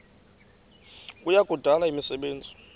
kuya kudala imisebenzi